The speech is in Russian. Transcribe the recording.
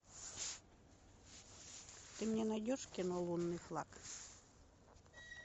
ты мне найдешь кино лунный флаг